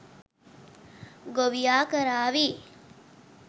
ගොවියා කරාවි